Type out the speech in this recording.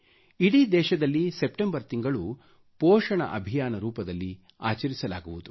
ಇಡೀ ದೇಶದಲ್ಲಿ ಸೆಪ್ಟೆಂಬರ್ ತಿಂಗಳು ಪೋಷಣ ಅಭಿಯಾನ ರೂಪದಲ್ಲಿ ಆಚರಿಸಲಾಗುವುದು